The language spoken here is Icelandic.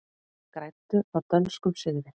Græddu á dönskum sigri